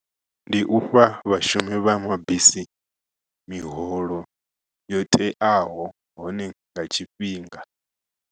Ndi ufha vhashumi vha mabisi miholo yo teaho hone nga tshifhinga.